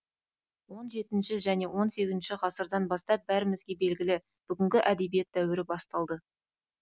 он жетінші және он сегізінші ғасырдан бастап бәрімізге белгілі бүгінгі әдебиет дәуірі басталды